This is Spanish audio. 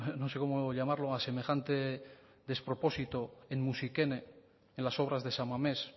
no sé cómo llamarlo a semejante despropósito en musikene en las obras de san mamés